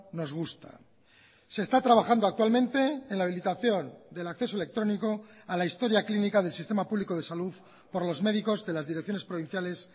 nos gusta se está trabajando actualmente en la habilitación del acceso electrónico a la historia clínica del sistema público de salud por los médicos de las direcciones provinciales